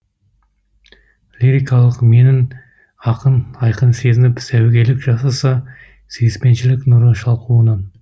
лирикалық менін ақын айқын сезініп сәуегейлік жасаса сүйіспеншілік нұры шалқуынан